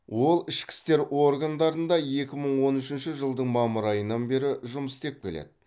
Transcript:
ол ішкі істер органдарында екі мың он үшінші жылдың мамыр айынан бері жұмыс істеп келеді